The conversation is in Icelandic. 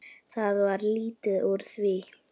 Það varð lítið úr því.